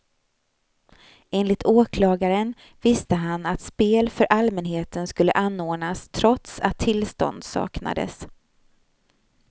Enligt åklagaren visste han att spel för allmänheten skulle anordnas trots att tillstånd saknades.